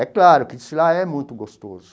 É claro, que desfilar é muito gostoso.